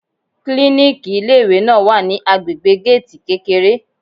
Klíníkì ilé ìwé náà wà ní agbègbè géètì kékeré.